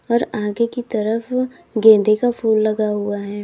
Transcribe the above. और आगे की तरफ गेंदें का फूल लगा हुआ है।